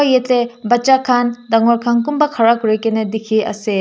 yeti bacha khan dangor khan kunba khara kurina dikhi ase.